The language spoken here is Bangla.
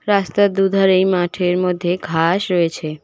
রাস্তার দুধারেই মাঠের মধ্যে ঘাস রয়েছে।